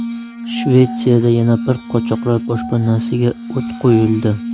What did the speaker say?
Shvetsiyada yana bir qochoqlar boshpanasiga o‘t qo‘yildi.